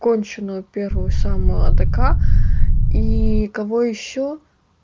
конченую первую самую адека и кого ещё